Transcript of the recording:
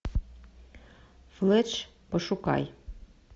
флетч пошукай